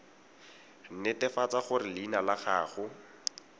netefatsa gore leina la gago